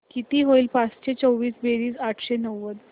किती होईल पाचशे चोवीस बेरीज आठशे नव्वद